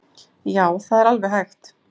Já, það er vel hægt!